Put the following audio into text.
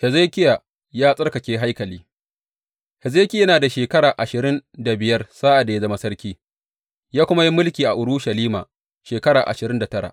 Hezekiya ya tsarkake haikali Hezekiya yana da shekara ashirin da biyar sa’ad da ya zama sarki, ya kuma yi mulki a Urushalima shekara ashirin da tara.